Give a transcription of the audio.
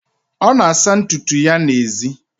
ọ na-asa ntutu ya n'èzí